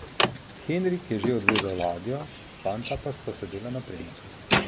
Henrik je že odvezal ladjo, fanta pa sta sedela na premcu.